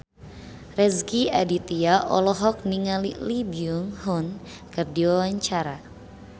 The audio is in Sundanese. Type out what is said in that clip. Rezky Aditya olohok ningali Lee Byung Hun keur diwawancara